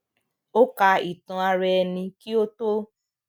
ó ka ìtàn ara ẹni kí ó tó